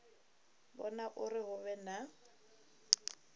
vhona uri hu vhe na